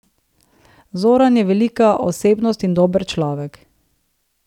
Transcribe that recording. Zoran je velika osebnost in dober človek.